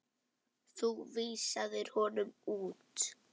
Þú vísaðir honum út.